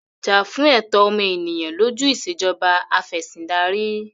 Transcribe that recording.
Jà fún ẹ̀tọ́ ọmọ ènìyàn lójú Ìṣèjọba Af'ẹ̀sìndarí!